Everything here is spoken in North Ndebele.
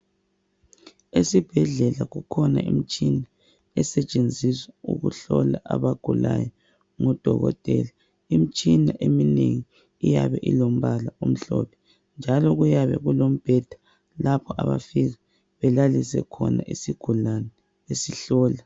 Esibhedlela kukhona imtshina esetshenziswa ukuhlola abagulayo ngudokotela , imitshina eminengi iyabe ilombala omhlophe njalo kuyabe kulombheda lapho abafika belaliswe khona isigulane besihlola